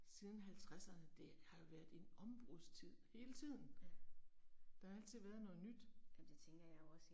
Siden halvtredserne det har jo været en ombrudstid hele tiden. Der har altid været noget nyt